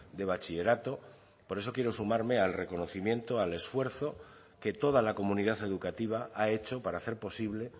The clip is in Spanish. de bachillerato por eso quiero sumarme al reconocimiento al esfuerzo que toda la comunidad educativa ha hecho para hacer posible